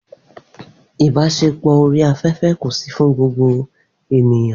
online ibaṣepọ ni ko fun gbogbo eniyan.